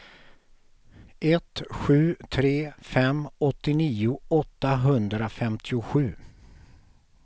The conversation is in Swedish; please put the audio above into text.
ett sju tre fem åttionio åttahundrafemtiosju